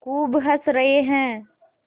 खूब हँस रहे हैं